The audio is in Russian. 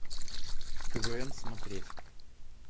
квн смотреть